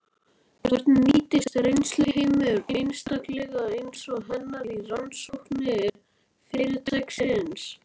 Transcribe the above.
Hvernig nýtist reynsluheimur einstaklinga eins og hennar í rannsóknir fyrirtækisins?